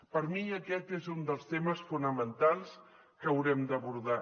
per mi aquest és un dels temes fonamentals que haurem d’abordar